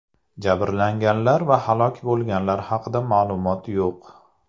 Jabrlanganlar va halok bo‘lganlar haqida ma’lumot yo‘q.